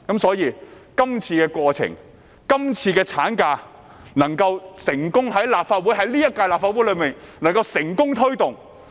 所以，藉着這個過程，這項產假法案才能夠在今屆立法會內成功推動。